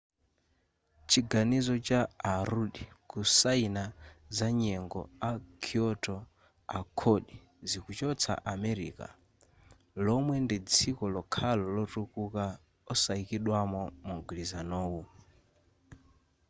chiganizo cha a rudd kusayina za nyengo a kyoto accord zikuchotsa america lomwe ndi dziko lokhalo lotukuka osayikidwamo mugwilizanuwu